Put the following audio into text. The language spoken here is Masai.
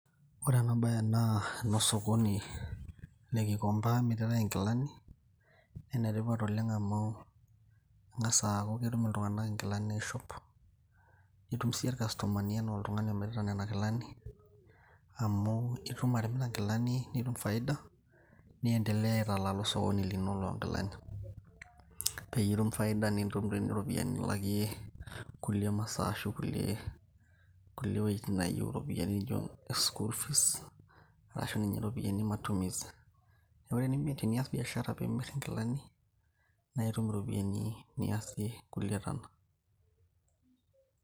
ore ena baye naa enosokoni le kikomba emiritae inkilani naa enetipat oleng amu ing'as aaku ketum iltung'anak inkilani aishop nitum siiyie irkastomani enaa oltung'ani omirita nena kilani amu itum atimira inkilani nitum faida niendelea aitalala osokoni lino loonkilani peyie itum faida nintum tii iropiyiani nilakie kulie masaa ashu kulie wuejitin nayieu iropiyiani nijo school fees arashu ninye iropiyiani e matumizi neku tenias biashara pimirr inkilani naitum iropiyiani niasie kulie tana.